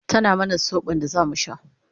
tana mana sobon da zamu sha